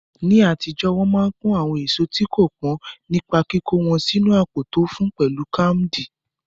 Ní àtijọ́, wọn máa ń pọ́n àwọn èso tí kò pọ́n nípa kíkó wọn sínu àpò tó fún, pẹ̀lú káàmdì.